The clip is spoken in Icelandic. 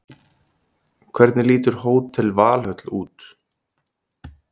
Hvernig lítur Hótel Valhöll út?